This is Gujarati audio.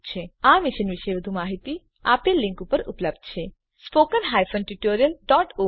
આ મિશન પર વધુ માહીતી આપેલ લીંક પર ઉપલબ્ધ છે httpspoken tutorialorgNMEICT Intro આ રીતે આ ટ્યુટોરીયલનો અંત થાય છે